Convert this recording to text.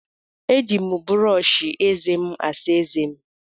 Eji m brọọshị ézé m asa ézé m.